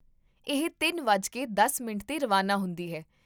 ਇਹ ਤਿੰਨ ਵੱਜ ਕੇ ਦਸ ਮਿੰਟ 'ਤੇ ਰਵਾਨਾ ਹੁੰਦੀ ਹੈ